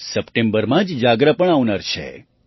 સપ્ટેમ્બરમાં જ જાગરા પણ આવનાર છે